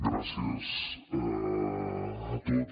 gràcies a tots